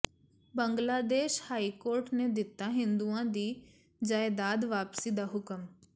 Bangladesh high court ਨੇ ਦਿੱਤਾ ਹਿੰਦੂਆਂ ਦੀ ਜਾਇਦਾਦ ਵਾਪਸੀ ਦਾ ਹੁਕਮ